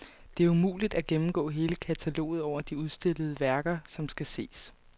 Det er umuligt at gennemgå hele kataloget over de udstillede værker, som skal ses.